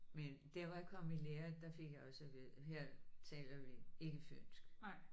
Men der hvor jeg kom i lære der fik jeg også at vide her taler vi ikke fynsk